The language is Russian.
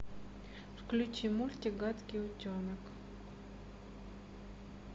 включи мультик гадкий утенок